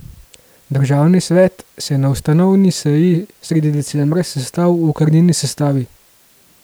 Državni svet se je na ustanovni seji sredi decembra sestal v okrnjeni sestavi.